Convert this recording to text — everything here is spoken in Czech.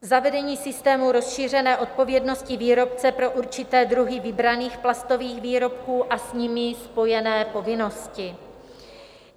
Zavedení systému rozšířené odpovědnosti výrobce pro určité druhy vybraných plastových výrobků a s nimi spojené povinnosti.